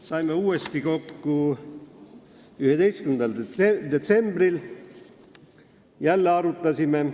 Saime uuesti kokku 11. detsembril, jälle arutasime.